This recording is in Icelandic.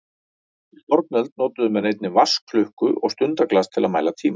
Í fornöld notuðu menn einnig vatnsklukku og stundaglas til að mæla tímann.